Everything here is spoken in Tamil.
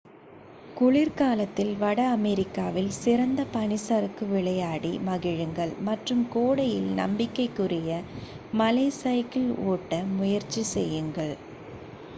குளிர் காலத்தில் வட அமெரிக்காவில் சிறந்த பனிச் சறுக்கு விளையாடி மகிழுங்கள் மற்றும் கோடையில் நம்பிக்கைக்குரிய மலை சைக்கிள் ஓட்ட முயற்சி செய்யுங்கள்